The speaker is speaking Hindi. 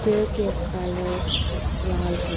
चेयर के कलर लाल है।